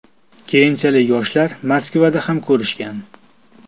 Keyinchalik yoshlar Moskvada ham ko‘rishgan.